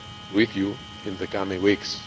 with you in the coming weeks.